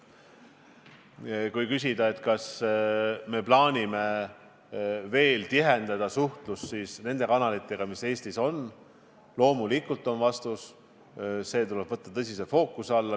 Kui küsida, kas me plaanime tihendada suhtlust nende kanalitega, mis Eestis on, siis loomulikult on vastus, et see tuleb võtta fookusse.